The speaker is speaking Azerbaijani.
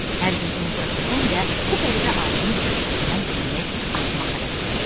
Hər gün onu bura çəkən də bu qəribə aləmin sirlərindən birini açmaq həvəsi idi.